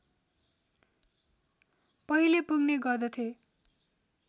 पहिले पुग्ने गर्दथे